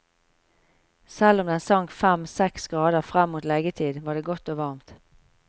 Selv om den sank fem, seks grader frem mot leggetid, var det godt og varmt.